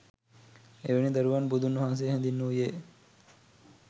එවැනි දරුවන් බුදුන් වහන්සේ හැඳින්වූයේ